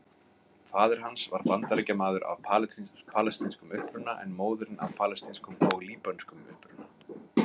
Faðir hans var Bandaríkjamaður af palestínskum uppruna en móðirin af palestínskum og líbönskum uppruna.